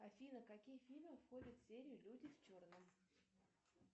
афина какие фильмы входят в серию люди в черном